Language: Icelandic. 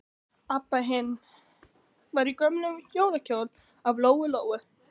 Abba hin var í gömlum jólakjól af Lóu-Lóu.